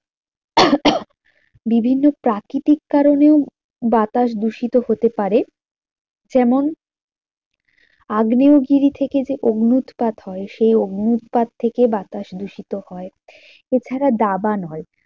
বিভিন্ন প্রাকৃতিক কারণেও বাতাস দূষিত হতে পারে যেমন আগ্নেয়গিরি থেকে যে অগ্নুৎপাত হয় সেই অগ্নুৎপাত থেকে বাতাস দূষিত হয়। এছাড়া দাবানল